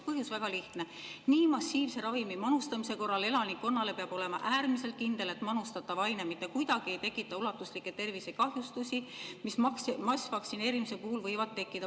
Põhjus oli väga lihtne: nii massiivse ravimimanustamise korral elanikkonnale peab olema äärmiselt kindel, et manustatav aine mitte kuidagi ei tekita ulatuslikke tervisekahjustusi, mis massvaktsineerimise puhul võivad tekkida.